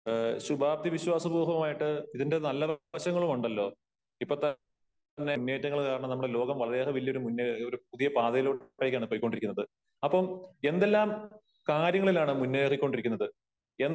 ശുഭാപ്തി വിശ്വാസ പോഹമായിട്ട് ഇതിന്റെ നല്ല വശങ്ങളുമുണ്ടല്ലോ ഇപ്പോ തന്നെ മുന്നേറ്റങ്ങൾ കാരണം നമ്മുടെ ലോകം വളറയേറെ തന്നെ വലിയ ഒരു മുന്നേ ഒരു പുതിയ പാതയിലൂടെയാണ് പോയികൊണ്ടിരിയ്ക്കുന്നത് . അപ്പോ എന്തെല്ലാം കാര്യങ്ങളിലാണ് മുന്നേറികൊണ്ടിരിക്കുന്നത് എന്ന്